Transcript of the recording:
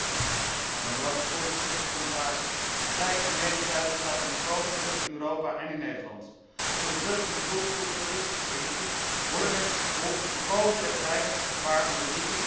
Voorzitter, commissaris, de vrijheid van meningsuiting staat onder grote druk in Europa en in Nederland. Onder druk van de multiculturalistische elite worden mensen vervolgd die volkomen terecht wijzen op het gevaar van religies en ideologieën.